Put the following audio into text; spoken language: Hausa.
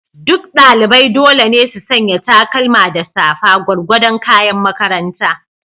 Duk ɗalibai dole ne su sanya takalma da safa, gwargwadon kayan makaranta.